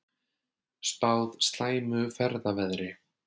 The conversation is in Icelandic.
Spáð slæmu ferðaveðri